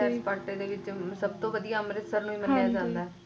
ਸੈਰ ਸਪਾਟੇ ਦੇ ਵਿਚ ਵੀ ਸਭ ਤੋ ਵਧੀਆ ਅੰਮ੍ਰਿਤਸਰ ਨੂੰ ਹੀ ਮੰਨਿਆ ਜਾਂਦਾ